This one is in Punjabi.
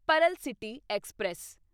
Pearl city express